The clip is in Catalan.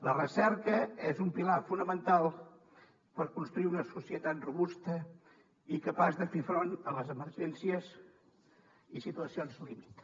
la recerca és un pilar fonamental per construir una societat robusta i capaç de fer front a les emergències i situacions límit